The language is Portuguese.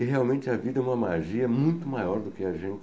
E, realmente, a vida é uma magia muito maior do que a gente